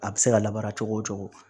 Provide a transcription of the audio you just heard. A bɛ se ka labara cogo o cogo